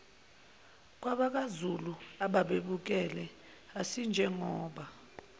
kwabakwazulu ababebukele asinjengoba